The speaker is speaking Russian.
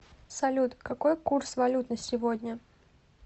салют какой курс валют на сегодня